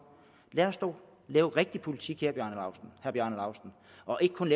lad os da lave rigtig politik herre bjarne laustsen og ikke kun